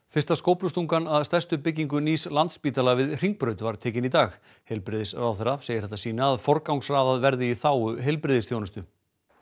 fyrsta skóflustungan að stærstu byggingu nýs Landspítala við Hringbraut var tekin í dag heilbrigðisráðherra segir þetta sýna að forgangsraðað verði í þágu heilbrigðisþjónustu